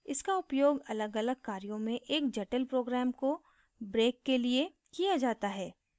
इसका उपयोग अलगअलग कार्यों में एक जटिल program को break के लिए किया जाता है